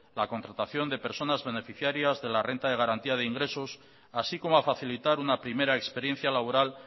la contratación de personas beneficiarias de la renta de garantía de ingresos así como a facilitar una primera experiencia laboral